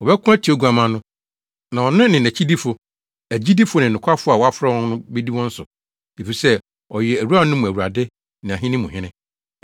Wɔbɛko atia Oguamma no, na ɔno ne nʼakyidifo, agyidifo ne nokwafo a wɔafrɛ wɔn no bedi wɔn so, efisɛ ɔyɛ awuranom mu Awurade ne ahene mu Hene.”